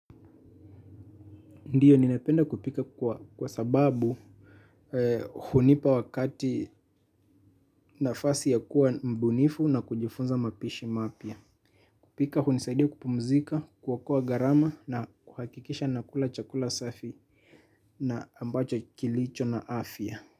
Ndiyo ninapenda kupika kwa sababu hunipa wakati nafasi ya kuwa mbunifu na kujifunza mapishi mapya. Kupika hunisaidia kupumzika, kuokoa gharama na kuhakikisha nakula chakula safi na ambacho kilicho na afya.